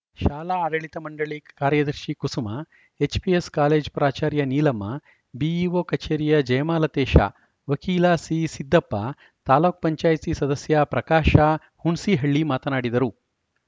ಶಾಲಾ ಆಡಳಿತ ಮಂಡಳಿ ಕಾರ್ಯದರ್ಶಿ ಕುಸುಮಾ ಎಚ್‌ಪಿಎಸ್‌ ಕಾಲೇಜ್ ಪ್ರಾಚಾರ್ಯ ನೀಲಮ್ಮ ಬಿಇಒ ಕಚೇರಿಯ ಜಯಮಾಲತೇಶ ವಕೀಲ ಸಿಸಿದ್ದಪ್ಪ ತಾಲೂಕ್ ಪಂಚಾಯತ್ ಸದಸ್ಯ ಪ್ರಕಾಶ ಹುಣ್ಸಿಹಳ್ಳಿ ಮಾತನಾಡಿದರು